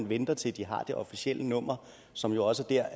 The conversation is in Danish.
venter til de har det officielle nummer som jo også er